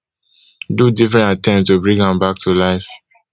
do different attempt to bring am back to life